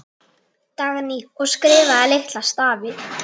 Dagný: Og skrifa litla stafi.